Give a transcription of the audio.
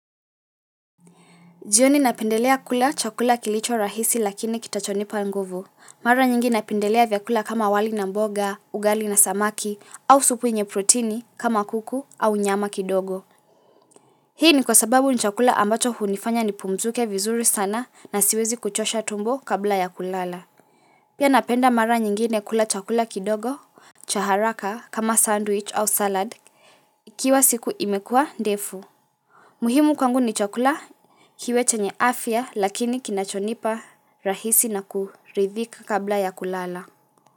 Jioni napendelea kula chakula kilicho rahisi lakini kitachonipa nguvu. Mara nyingi napendelea vyakula kama wali na mboga, ugali na samaki au supu yenye protini kama kuku au nyama kidogo. Hii ni kwa sababu ni chakula ambacho hunifanya nipumzike vizuri sana na siwezi kuchosha tumbo kabla ya kulala. Pia napenda mara nyingine kula chakula kidogo, cha haraka kama sandwich au salad, ikiwa siku imekua ndefu. Muhimu kwangu ni chakula kiwe chenye afya lakini kinachonipa rahisi na kuridhika kabla ya kulala.